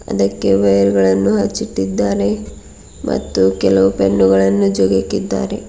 ಅದಕ್ಕೆ ವೆಲ್ಗಳನ್ನು ಅಚ್ಚಿಟ್ಟಿದ್ದಾರೆ ಮತ್ತು ಕೆಲವು ಪೆಂಗಳನ್ನು ಜೋಗ್ ಹಾಕಿದ್ದಾರೆ.